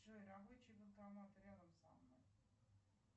джой рабочий банкомат рядом со мной